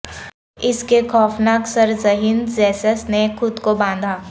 اس کے خوفناک سر ذہین زسس نے خود کو باندھا